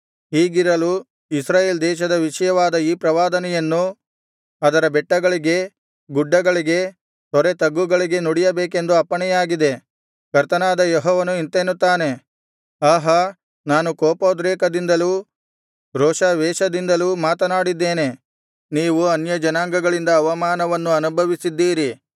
ಹೀಗಿರಲು ಇಸ್ರಾಯೇಲ್ ದೇಶದ ವಿಷಯವಾದ ಈ ಪ್ರವಾದನೆಯನ್ನು ಅದರ ಬೆಟ್ಟಗಳಿಗೆ ಗುಡ್ಡಗಳಿಗೆ ತೊರೆತಗ್ಗುಗಳಿಗೆ ನುಡಿಯಬೇಕೆಂದು ಅಪ್ಪಣೆಯಾಗಿದೆ ಕರ್ತನಾದ ಯೆಹೋವನು ಇಂತೆನ್ನುತ್ತಾನೆ ಆಹಾ ನಾನು ಕೋಪೋದ್ರೇಕದಿಂದಲೂ ರೋಷಾವೇಶದಿಂದಲೂ ಮಾತನಾಡಿದ್ದೇನೆ ನೀವು ಅನ್ಯಜನಾಂಗಗಳಿಂದ ಅವಮಾನವನ್ನು ಅನುಭವಿಸಿದ್ದೀರಿ